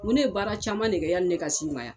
Ŋo ne ye baara caman de kɛ yani ne ka s'i ma ya.